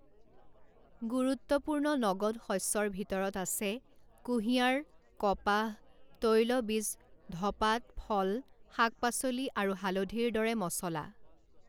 গুৰুত্বপূৰ্ণ নগদ শস্যৰ ভিতৰত আছে কুঁহিয়াৰ কপাহ তৈলবীজ ধপাত ফল শাক পাচলি আৰু হালধিৰ দৰে মচলা।